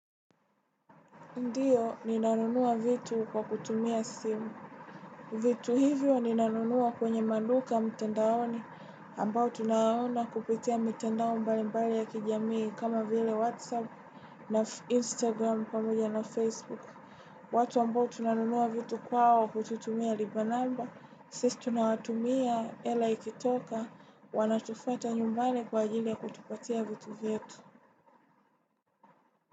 Ndiyo, ninanunua vitu kwa kutumia simu. Vitu hivyo ninanunua kwenye maduka mtandaoni ambao tunayaona kupitia mitandao mbali mbali ya kijamii kama vile Whatsapp na Instagram pamoja na Facebook. Watu ambao tunanunua vitu kwao kututumia lipa namba, sisi tunawatumia, hela ikitoka, wanatufuata nyumbani kwa ajili ya kutupatia vitu vyetu.